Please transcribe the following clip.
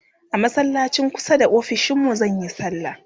a masallacin kusa da ofishinmu zanyi sallah